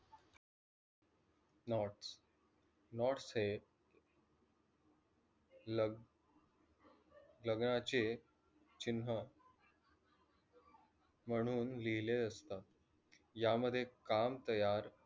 nots nots से लग लग्नाचे चिन्ह म्हणून लिहिले असतात. यामध्ये काम तयार